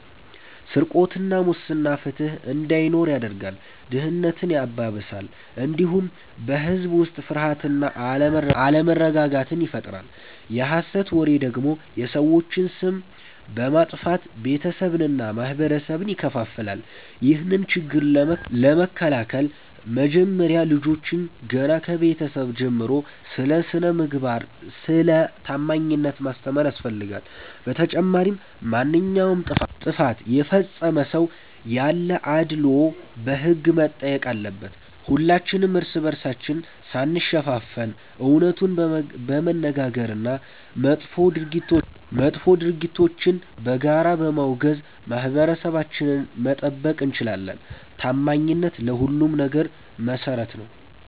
ስርቆትና ሙስና ፍትሕ እንዳይኖር ያደርጋል፣ ድህነትን ያባብሳል፣ እንዲሁም በሕዝብ ላይ ፍርሃትና አለመረጋጋትን ይፈጥራል። የሐሰት ወሬ ደግሞ የሰዎችን ስም በማጥፋት ቤተሰብንና ማኅበረሰብን ይከፋፍላል። ይህንን ችግር ለመከላከል መጀመሪያ ልጆችን ገና ከቤተሰብ ጀምሮ ስለ ስነ-ምግባርና ስለ ታማኝነት ማስተማር ያስፈልጋል። በተጨማሪም ማንኛውም ጥፋት የፈጸመ ሰው ያለ አድልዎ በሕግ መጠየቅ አለበት። ሁላችንም እርስ በርሳችን ሳንሸፋፈን እውነቱን በመነጋገርና መጥፎ ድርጊቶችን በጋራ በማውገዝ ማኅበረሰባችንን መጠበቅ እንችላለን። ታማኝነት ለሁሉም ነገር መሠረት ነው።